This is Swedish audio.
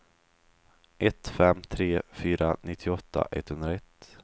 ett fem tre fyra nittioåtta etthundraett